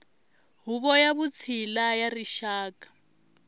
huvo ya vutshila ya rixaka